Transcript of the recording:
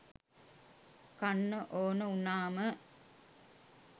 කන්න ඕන වුනාම